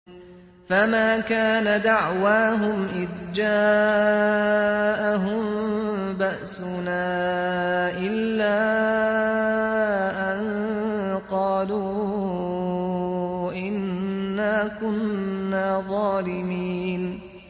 فَمَا كَانَ دَعْوَاهُمْ إِذْ جَاءَهُم بَأْسُنَا إِلَّا أَن قَالُوا إِنَّا كُنَّا ظَالِمِينَ